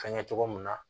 Fɛnkɛ cogo mun na